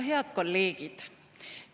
Head kolleegid!